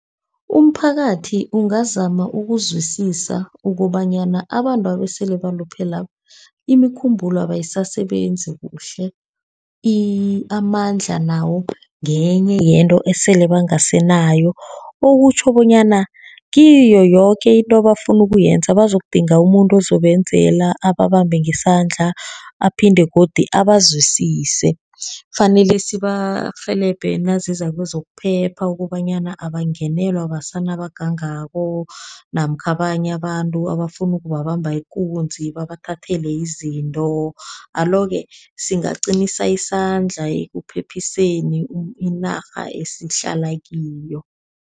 Umphakathi ungazama ukuzwisisa ukobanyana abantwaba esele baluphele labo, imikhumbulo yabo ayisasebenzi kuhle. Amandla nawo ngenye yento esele bangasenayo, okutjho bonyana kiyo yoke into ebafuna ukuyenza, bazokudinga umuntu ozobenzela, ababambe ngesandla, aphinde godu abazwisise. Kufanele sibarhelebhe naziza kwezokuphepha, ukobanyana abangenelwa besana abagangako, namkha abanye abantu abafuna ukubabamba ikunzi, babathathele izinto. Alo-ke singaqinisa isandla ekuphephiseni inarha esihlala kiyo.